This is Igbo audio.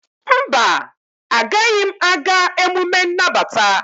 mba, agaghị m aga emume nnabata.